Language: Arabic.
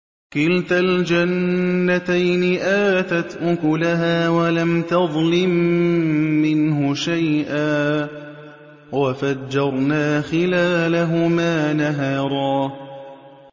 كِلْتَا الْجَنَّتَيْنِ آتَتْ أُكُلَهَا وَلَمْ تَظْلِم مِّنْهُ شَيْئًا ۚ وَفَجَّرْنَا خِلَالَهُمَا نَهَرًا